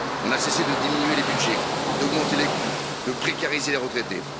Nous n'avons cessé de diminuer les budgets, d'augmenter les coûts, de précariser les retraités.